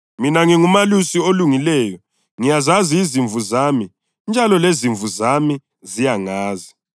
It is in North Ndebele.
Mina ngingumelusi olungileyo; ngiyazazi izimvu zami njalo lezimvu zami ziyangazi